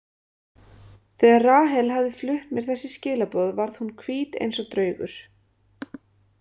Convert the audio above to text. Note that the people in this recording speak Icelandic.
Þegar Rahel hafði flutt mér þessi skilaboð varð hún hvít eins og draugur.